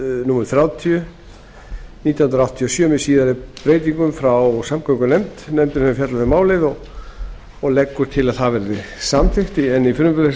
númer þrjátíu nítján hundruð áttatíu og sjö með síðari breytingum frá samgöngunefnd nefndin hefur fjallað um málið og leggur til að það verði samþykkt í frumvarpi þessu er lagt til að